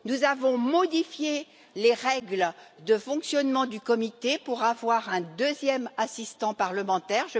Nous avons modifié les règles de fonctionnement du comité pour avoir un deuxième assistant parlementaire.